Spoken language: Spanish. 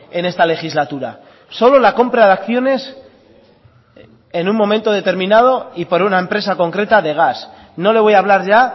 en esta legislatura solo la compra de acciones en un momento determinado y por una empresa concreta de gas no le voy a hablar ya